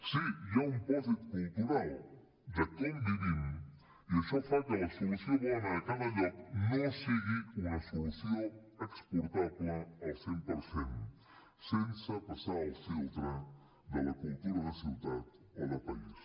sí hi ha un pòsit cultural de com vivim i això fa que la solució bona a cada lloc no sigui una solució exportable al cent per cent sense passar el filtre de la cultura de ciutat o de país